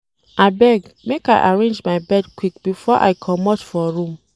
Abeg, make I arrange my bed quick before I comot for room.